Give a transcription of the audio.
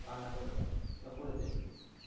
রান্না করে দাও ওরা করে দেবে